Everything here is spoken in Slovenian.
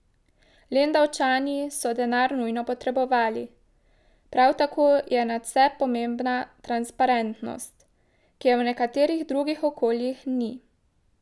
Lendavčani so denar nujno potrebovali, prav tako je nadvse pomembna transparentnost, ki je v nekaterih drugih okoljih ni.